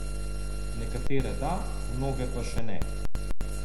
Nekatere da, mnoge pa še ne.